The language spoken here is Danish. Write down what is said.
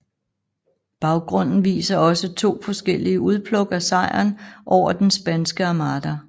Baggrunden viser også to forskellige udpluk af sejren over den spanske armada